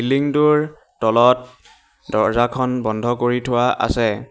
Building টোৰ তলত দৰ্জাখন বন্ধ কৰি থোৱা আছে।